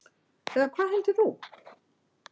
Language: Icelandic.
Eða hvað heldur þú?